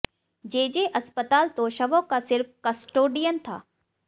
जे J अस्पताल तो शवों का सिर्फ कस्टोडियन था